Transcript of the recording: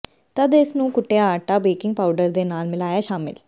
ਤਦ ਇਸ ਨੂੰ ਕੁੱਟਿਆ ਆਟਾ ਬੇਕਿੰਗ ਪਾਊਡਰ ਦੇ ਨਾਲ ਮਿਲਾਇਆ ਸ਼ਾਮਿਲ